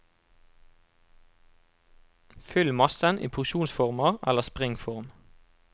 Fyll massen i porsjonsformer eller springform.